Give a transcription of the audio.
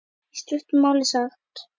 Í stuttu máli sagt.